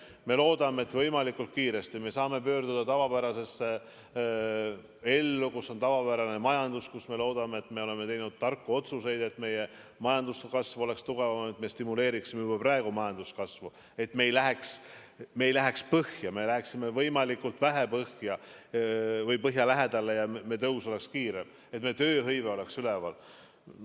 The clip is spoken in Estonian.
Me loodame, et me võimalikult kiiresti saaksime pöörduda tavapärasesse ellu, kus on tavapärane majandus, kus, me loodame, me oleme teinud tarku otsuseid, et majanduskasv oleks tugevam, et me stimuleeriksime juba praegu majanduskasvu ega läheks põhja, läheksime võimalikult vähe põhja või põhja lähedale, ja meie tõus oleks kiire, et meie tööhõive oleks üleval.